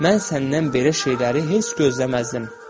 Mən səndən belə şeyləri heç gözləməzdim.